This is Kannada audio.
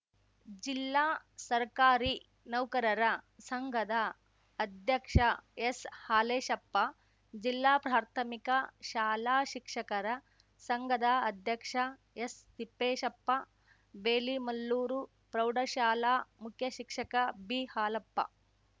ಜಿಲ್ಲಾ ಸರ್ಕಾರಿ ನೌಕರರ ಸಂಘದ ಅಧ್ಯಕ್ಷ ಎಸ್‌ಹಾಲೇಶಪ್ಪ ಜಿಲ್ಲಾ ಪ್ರಾಥಮಿಕ ಶಾಲಾ ಶಿಕ್ಷಕರ ಸಂಘದ ಅಧ್ಯಕ್ಷ ಎಸ್‌ ತಿಪ್ಪೇಶಪ್ಪ ಬೇಲಿಮಲ್ಲೂರು ಪ್ರೌಢ ಶಾಲಾ ಮುಖ್ಯ ಶಿಕ್ಷಕ ಬಿ ಹಾಲಪ್ಪ